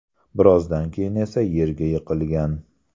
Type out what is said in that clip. Birozdan keyin esa yerga yiqilgan.